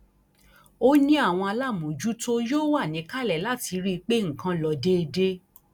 ó ní àwọn aláàmọjútó yóò wà níkàlẹ láti rí i pé nǹkan ló déédé